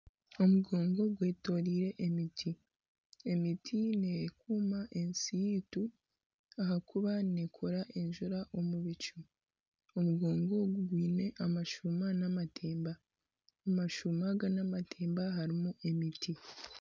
Omugongo gwetoroirwe emiti. Emiti nekuuma ensi yaitu. Ahakuba neekora enjura omu bicu. Omugongo gwine amashuuma n'amatemba. Amashuuma aga n'amatemba harimu emiti.